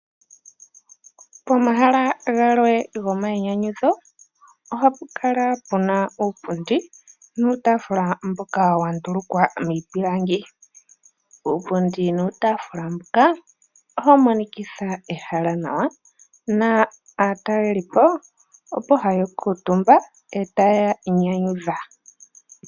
Pomahala galwe gomainyanyudho ohapu kala puna uupundi niitaafula mboka wa ndulukwa miipilangi. Uupundi nuutaafula mbuka ohawu monikitha ehala nawa na aataleli po ohaya kuutumba etaya inyanyudha.